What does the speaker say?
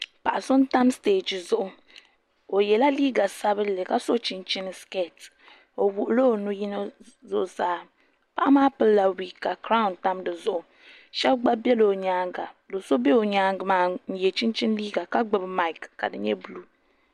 Paɣa so n tam stɛji zuɣu o yɛla liiga sabinli ka so chinchin skɛt o wuhula o nuyini zuɣusaa paɣa maa pilila wiid ka kiraawn tam dizuɣu shab gba biɛla o nyaanga do so bɛ o nyaangi maa n yɛ chinchin liiga ka gbubi maik ka di nyɛ buluu